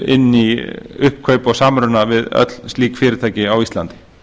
inn í uppkaup og samruna við öll slík fyrirtæki á íslandi